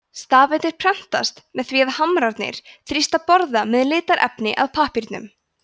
stafirnir prentast með því að hamrarnir þrýsta borða með litarefni að pappírnum